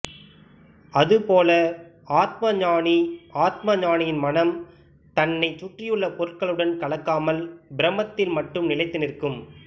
அது போலப் ஆத்ம ஞானிஆத்ம ஞானியின் மனம் தன்னைச் சுற்றியுள்ள பொருள்களுடன் கலக்காமல் பிரம்மத்தில் மட்டும் நிலைத்து நிற்கும்